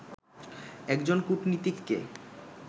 একজন কূটনীতিককে